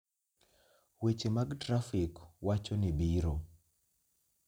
Weche mag trafik wacho ni biro